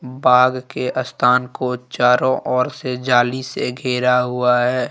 बाघ के स्थान को चारों ओर से जाली से घेरा हुआ है।